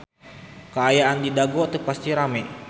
Kaayaan di Dago teu pati rame